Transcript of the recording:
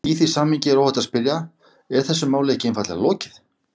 Í því samhengi er óhætt að spyrja: Er þessu máli ekki einfaldlega lokið?